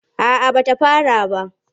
A'a ba ta fara ba.